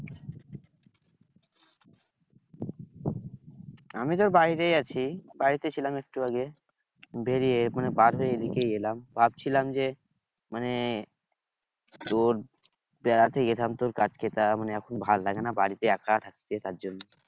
আমি তোর বাড়িতেই আছি। বাড়িতে ছিলাম একটু আগে, বেরিয়ে মানে পাশে এদিকেই এলাম। ভাবছিলাম যে মানে তোর বেড়াতে যেতাম তোর মানে এখন ভালো লাগে না বাড়িতে একা থাকতে তার জন্য।